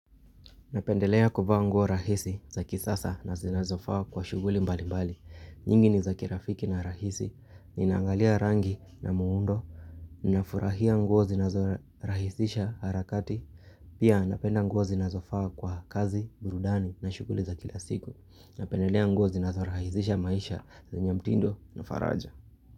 Napendelea kuvaa nguo rahisi za kisasa na zinazofaa kwa shughuli mbalimbali. Nyingi ni za kirafiki na rahisi. Ninaangalia rangi na muundo. Ninafurahia nguo zinazo rahisisha harakati. Pia napenda nguo zinazofaa kwa kazi, burudani na shughuli za kila siku. Napendelea nguo zinazo rahisisha maisha, zenye mtindo na faraja.